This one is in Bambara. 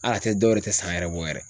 Hal'a tɛ dɔw yɛrɛ tɛ san yɛrɛ bɔ yɛrɛ.